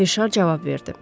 Rişar cavab verdi.